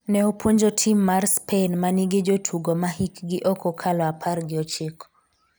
ne opuonjo tim mar Spain ma nigi jotugo ma hikgi ok okalo apar gi ochiko